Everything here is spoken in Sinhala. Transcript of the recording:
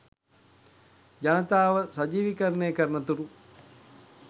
ජනතාව සජීවීකරණයකරනතුරු